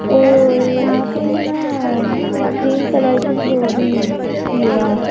और यहां पे है ना क्रीम कलर की वह भी है दीवार--